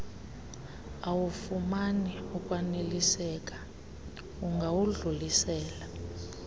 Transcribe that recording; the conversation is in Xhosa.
awufumani ukwaneliseka ungawudlulisela